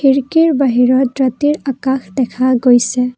খিৰিকীৰ বাহিৰত ৰাতিৰ আকাশ দেখা গৈছে।